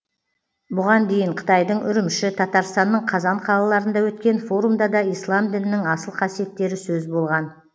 бұған дейін қытайдың үрімші татарстанның қазан қалаларында өткен форумда да ислам дінінің асыл қасиеттері сөз болған